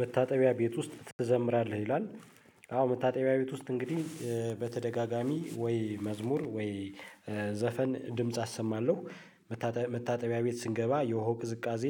መታጠቢያ ቤት ውስጥ ትዘምራለህ ይላል። አዎ መታጠቢያ ቤት ውስጥ እንግዲህ በተደጋጋሚ ወይ መዝሙር ወይ ዘፈን ድምጽ አሰማለሁ። መታጠቢያ ቤት ስንገባ የሆ ቅዝቃዜ